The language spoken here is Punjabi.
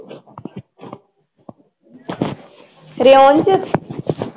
ਰਿਓਨ ਚ